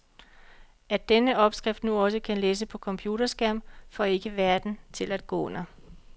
At denne opskrift nu også kan læses på computerskærm får ikke verden til at gå under.